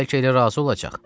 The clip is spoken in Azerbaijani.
Bəlkə elə razı olacaq.